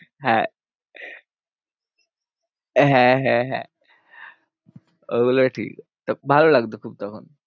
হ্যাঁ হ্যাঁ, হ্যাঁ, হ্যাঁ ওগুলো ঠিক, ভালো লাগতো খুব তখন